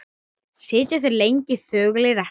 Sitja þeir lengi þögulir eftir.